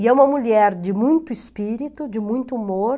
E é uma mulher de muito espírito, de muito humor.